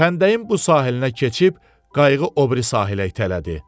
Xəndəyin bu sahilinə keçib qayıq o biri sahilə itələdi.